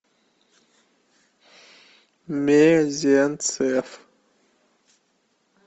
мезенцев